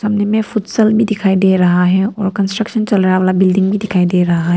इनमें भी दिखाई दे रहा है और कंस्ट्रक्शन चल रहा है वाला बिल्डिंग भी दिखाई दे रहा है।